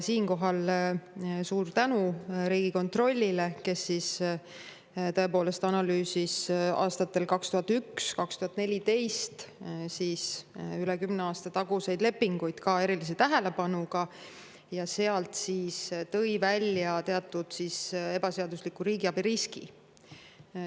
Siinkohal suur tänu Riigikontrollile, kes tõepoolest analüüsis aastatel 2001–2014 ehk üle kümne aasta tagasi lepinguid erilise tähelepanuga ja tõi seal välja teatud ebaseadusliku riigiabi riski.